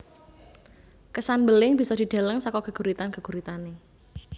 Kesan mbeling bisa dideleng saka geguritan geguritane